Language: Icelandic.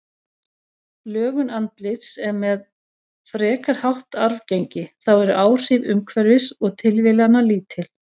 Lögun andlits er með frekar hátt arfgengi, þá eru áhrif umhverfis og tilviljana lítil.